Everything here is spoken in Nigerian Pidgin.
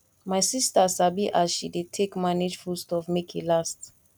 my sista sabi as she dey take manage food stuff make e last